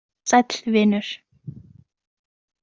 Sæll, vinur.